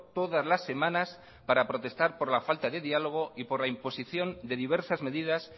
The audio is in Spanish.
todas las semanas para protestar por la falta de diálogo y por la imposición de diversas medidas